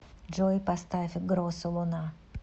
джой поставь гросу луна